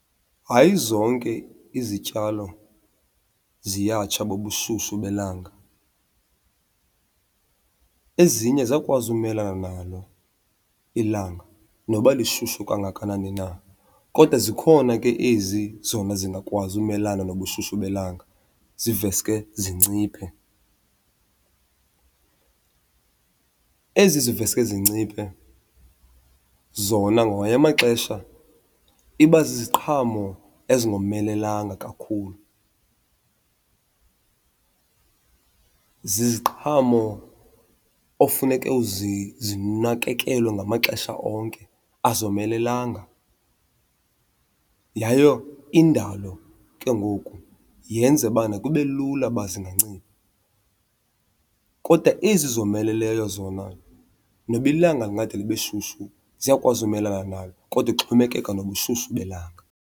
Hayi zonke izityalo ziyatsha bubushushu belanga, ezinye ziyakwazi umelana nalo ilanga noba lishushu kangakanani na. Kodwa zikhona ke ezi zona zingakwazi umelana nobushushu belanga ziveske zinciphe. Ezi ziveske zinciphe zona ngamanye amaxesha iba ziziqhamo ezingomelelanga kakhulu, ziziqhamo ofuneke zinakekelwe ngamaxesha onke, azomelelanga. Yaye indalo ke ngoku yenza bana kube lula uba zingancipha. Kodwa ezi zomeleleyo zona noba ilanga lingade libe shushu ziyakwazi umelana nalo, kodwa ixhomekeka nobushushu belanga.